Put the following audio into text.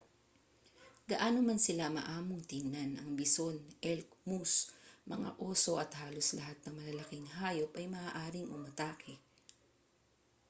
gaano man sila maamong tingnan ang bison elk moose mga oso at halos lahat ng malalaking hayop ay maaaring umatake